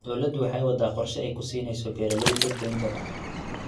Dawladdu waxa ay waddaa qorshe ay beeralayda ku siinayso deyn jaban.